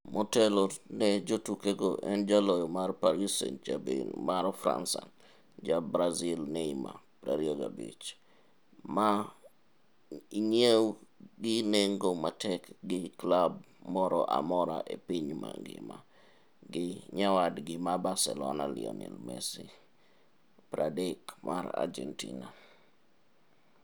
Motelo ne jotukego en jaloyo mar Paris St-Germain mar Faransa, ja brazil Neymar, 25, ma inyiew gi nengo matek gi klab moro amora e piny ngima gi nyawadgi ma Barcelona Lionel Messi, 30, mar Argentina.